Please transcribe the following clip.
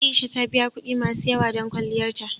A'isha ta biya kuɗi masu yawa don kwalliyar ta.